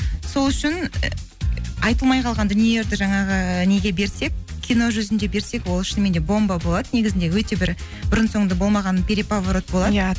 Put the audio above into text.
сол үшін айтылмай қалған дүниелерді жаңағы неге берсек кино жүзінде берсек ол шынымен де бомба болады негізінде өте бір бұрынсоңды болмаған